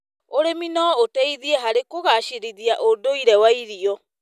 ũrĩmi no ũteithie harĩ kũgacĩrithia ũndũire wa irio.